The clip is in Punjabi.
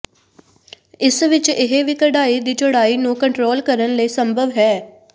ਇਸ ਵਿਚ ਇਹ ਵੀ ਕਢਾਈ ਦੀ ਚੌੜਾਈ ਨੂੰ ਕੰਟਰੋਲ ਕਰਨ ਲਈ ਸੰਭਵ ਹੈ